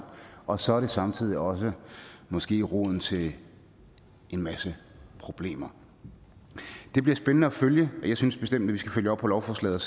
og så er det samtidig også måske roden til en masse problemer det bliver spændende at følge og jeg synes bestemt at vi skal følge op på lovforslaget